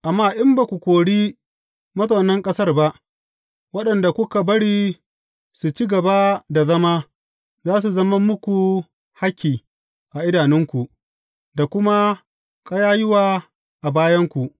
Amma in ba ku kori mazaunan ƙasar ba, waɗanda kuka bari su ci gaba da zama, za su zama muku hakki a idanunku, da kuma ƙayayyuwa a bayanku.